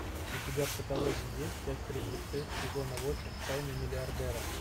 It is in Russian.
у тебя в каталоге есть часть тридцать шесть сезона восемь тайны миллиардера